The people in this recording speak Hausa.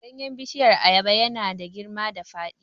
Ganyen bishiyar ayaba ya na da girma da faɗi